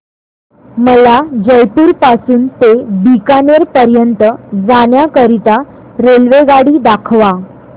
मला जयपुर पासून ते बीकानेर पर्यंत जाण्या करीता रेल्वेगाडी दाखवा